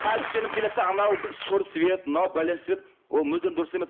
тәлпіштеніп келеді де анау сұр цвет мынау бәлен цвет ол мүлдем дұрыс емес